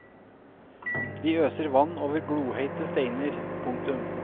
De øser vann over glohete steiner. punktum